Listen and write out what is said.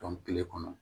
kile kɔnɔ